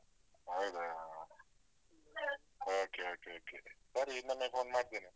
ಹೌದಾ? ಹ ಹ. okay okay okay ಸರಿ ಇನ್ನೊಮ್ಮೆ phone ಮಾಡ್ತೀನಿ.